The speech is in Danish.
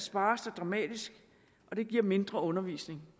spares der dramatisk og det giver mindre undervisning